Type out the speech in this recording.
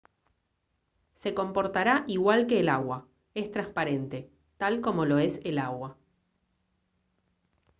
se comportará igual que el agua es transparente tal como lo es el agua